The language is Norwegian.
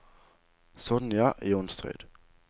Sonja Johnsrud